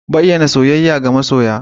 Bayyana soyayya ga masoya